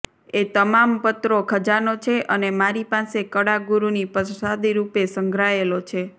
એ તમામ પત્રો ખજાનો છે અને મારી પાસે કળાગુરુની પ્રસાદીરૂપે સંઘરાયેલો છે